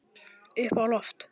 Upp á loft.